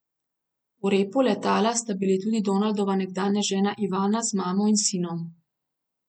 V repu letala sta bili tudi Donaldova nekdanja žena Ivana z mamo in sinom.